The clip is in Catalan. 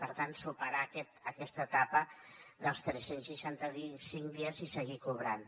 per tant superar aquesta etapa dels tres cents i seixanta cinc dies i seguir cobrant